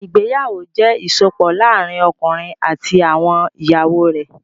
Ìgbéyàwó jẹ́ ìsopọ̀ láàárín ọkùnrin àti àwọn ìyàwó rẹ̀.